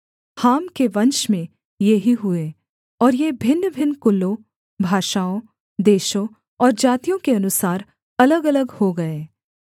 हाम के वंश में ये ही हुए और ये भिन्नभिन्न कुलों भाषाओं देशों और जातियों के अनुसार अलगअलग हो गए